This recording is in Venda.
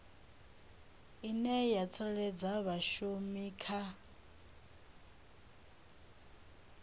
ine ya tsireledza vhashumi kha